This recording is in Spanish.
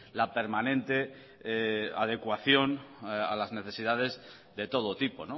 la permanente adecuación a las necesidades de todo tipo